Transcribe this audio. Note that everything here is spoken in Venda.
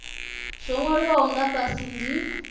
zwo nwaliwaho nga fhasi ndi